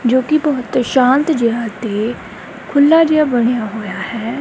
ਜੋ ਕਿ ਬਹੁਤ ਸ਼ਾਂਤ ਜਿਹਾ ਤੇ ਖੁੱਲਾ ਜਿਹਾ ਬਣਿਆ ਹੋਇਆ ਹੈ।